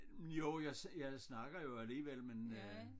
Jo jeg jeg snakker jo alligevel men øh